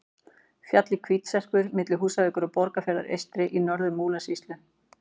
Fjallið Hvítserkur milli Húsavíkur og Borgarfjarðar eystri í Norður-Múlasýslu.